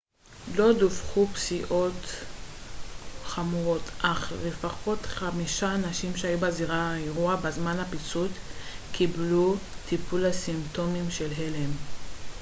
לא דווחו פציעות חמורות אך לפחות חמישה אנשים שהיו בזירת האירוע בזמן הפיצוץ קיבלו טיפול לסימפטומים של הלם